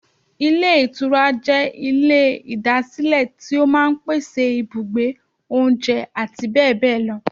Ilé Ìtura jẹ́ Ilé ìdásílẹ̀ tí ó máa n pèsè ibùgbé, oúnjẹ àti bẹ́bẹ̀bẹ́bẹ̀ lọ